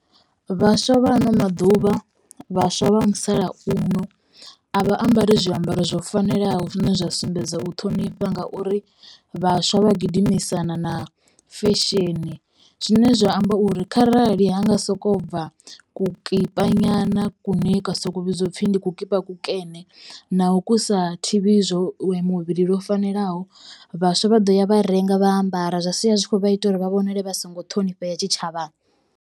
Vhaswa vha ano maḓuvha, vhaswa vha musalauno a vha ambari zwiambaro zwo fanelaho zwine zwa sumbedza u ṱhonifha ngauri vhaswa vha gidimisana na fesheni. Zwine zwa amba uri kharali ha nga sokou bva vhukipa nyana kune kwa sokou vhidzwa u pfhi ndi kukipa kukene na ho kusa thivhi muvhili lwo fanelaho vhaswa vha ḓo ya vha renga vha ambara zwa sia zwi kho vha ita uri vha vhonale vha songo ṱhonifhea tshitshavhani.